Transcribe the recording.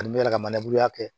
Ani ne yɛrɛ ka maneburuya kɛ